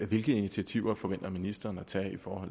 hvilke initiativer forventer ministeren at tage for